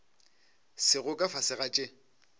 sego ka fase ga tše